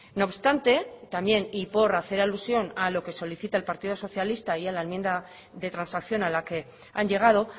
no obstante también y por hacer alusión a lo que solicita el partido socialista y a la enmienda de transacción a la que han llegado